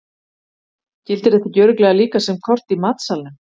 Gildir þetta ekki örugglega líka sem kort í matsalnum?